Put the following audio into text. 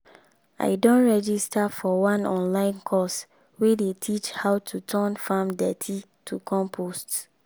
i don register for one online course wey dey teach how to turn farm dirty to compost.